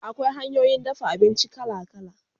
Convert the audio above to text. Akwai hanyoyin dafa abinci kala kala